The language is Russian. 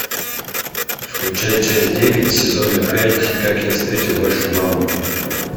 включай часть девять сезона пять как я встретил вашу маму